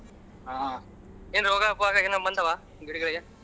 ಹಾ ಏನ್ ರೋಗ ಪಾಗ ಬಂದವಾ ಗಿಡಗಳಗೆ?